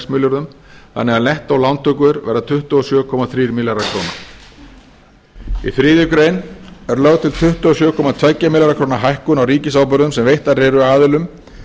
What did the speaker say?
milljörðum þannig að nettó lántökur verða tuttugu og sjö komma þrír milljarðar króna í þriðju grein er lögð til tuttugu og sjö komma tvo milljarða króna hækkun á ríkisábyrgðum sem veittar eru aðilum